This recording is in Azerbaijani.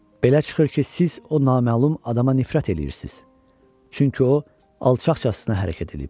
Belə çıxır ki, siz o naməlum adama nifrət eləyirsiz, çünki o alçaqcasına hərəkət eləyib.